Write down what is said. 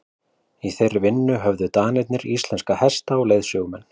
í þeirri vinnu höfðu danirnir íslenska hesta og leiðsögumenn